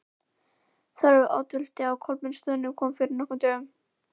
Þórólfur oddviti á Kolbeinsstöðum kom fyrir nokkrum dögum.